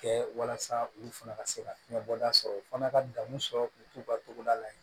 Kɛ walasa olu fana ka se ka fiɲɛ bɔda sɔrɔ u fana ka danni sɔrɔ u k'u ka togoda la yen